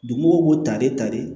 Dugumɔgɔw b'u ta de ta de